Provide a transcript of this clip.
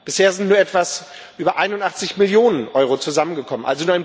Bisher sind nur etwas über 81 Millionen Euro zusammengekommen.